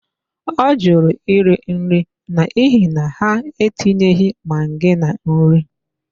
Ọ jụrụ iri nri n'ihi na, ha etinyeghị maggi na nri.